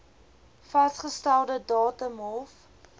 vasgestelde datum hof